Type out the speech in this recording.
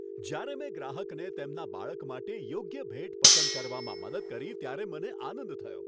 જ્યારે મેં ગ્રાહકને તેમના બાળક માટે યોગ્ય ભેટ પસંદ કરવામાં મદદ કરી ત્યારે મને આનંદ થયો .